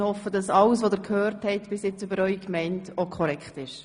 Ich hoffe, dass alles bisher Gesagte für Ihre Gemeinde korrekt ist.